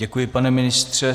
Děkuji, pane ministře.